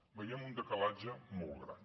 hi veiem un decalatge molt gran